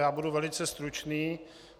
Já budu velice stručný.